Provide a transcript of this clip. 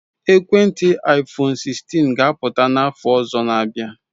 Ekwentị iphone 16 ga apụta n'afọ ọzọ na abia